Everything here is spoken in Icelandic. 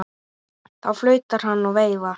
Þá flautar hann og veifar.